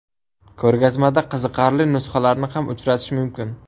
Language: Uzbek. Ko‘rgazmada qiziqarli nusxalarni ham uchratish mumkin.